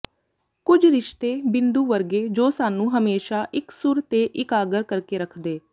ਕੁੱਝ ਰਿਸ਼ਤੇ ਬਿੰਦੂ ਵਰਗੇ ਜੋ ਸਾਨੂੰ ਹਮੇਸ਼ਾ ਇਕਸੁਰ ਤੇ ਇਕਾਗਰ ਕਰਕੇ ਰੱਖਦੇ